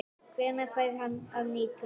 Hvenær fer hann að nýtast?